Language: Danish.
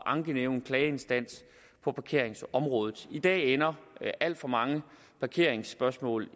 ankenævn en klageinstans på parkeringsområdet i dag ender alt for mange parkeringsspørgsmål